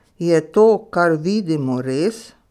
Je to, kar vidimo, res?